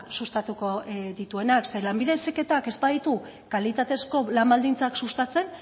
sustatuko dituena zeren lanbide heziketak ez baditu kalitatezko lan baldintzak sustatzen